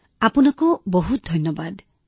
বিশাখা জীঃ হয় আপোনাক বহুত ধন্যবাদ